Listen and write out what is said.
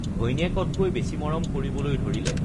ঘৈণীয়েকতকৈ বেছি মৰম কৰিবলৈ ধৰিলে